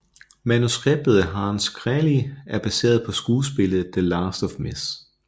Manuskriptet af Hanns Kräly er baseret på skuespillet The Last of Mrs